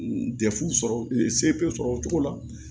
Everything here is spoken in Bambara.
Dɛfu sɔrɔ o cogo la